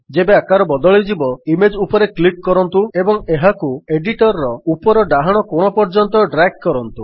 ଯେବେ ଆକାର ବଦଳିଯିବ ଇମେଜ୍ ଉପରେ କ୍ଲିକ୍ କରନ୍ତୁ ଏବଂ ଏହାକୁ ଏଡିଟର୍ ର ଉପର ଡାହାଣ କୋଣ ପର୍ଯ୍ୟନ୍ତ ଡ୍ରାଗ୍ କରନ୍ତୁ